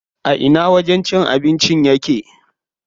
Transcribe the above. A ina wajen cin abincin yake?